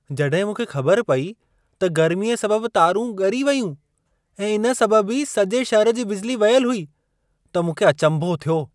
जॾहिं मूंखे ख़बर पेई त गर्मीअ सबबु तारूं ॻरी वेयूं ऐं इन सबबु ई सॼे शहर जी बिजली वयलु हुई त मूंखे अचंभो थियो।